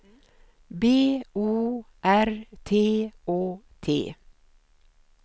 B O R T Å T